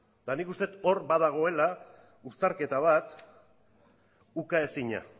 eta nik uste dut hor badagoela uztarketa bat ukaezina